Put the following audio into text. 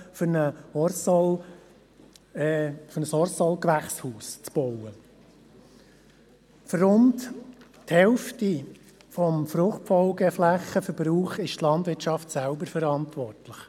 Für rund die Hälfte des Verbrauchs der Fruchtfolgeflächen ist die Landwirtschaft selbst verantwortlich.